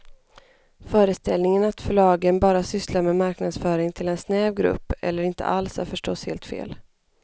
Föreställningen att förlagen bara sysslar med marknadsföring till en snäv grupp eller inte alls är förstås helt fel.